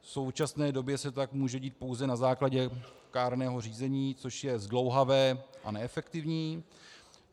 V současné době se tak může dít pouze na základě kárného řízení, což je zdlouhavé a neefektivní.